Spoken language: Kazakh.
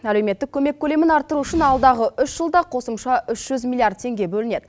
әлеуметтік көмек көлемін арттыру үшін алдағы үш жылда қосымша үш жүз миллиард теңге бөлінеді